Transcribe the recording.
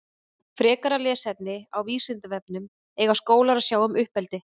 Frekara lesefni á Vísindavefnum Eiga skólar að sjá um uppeldi?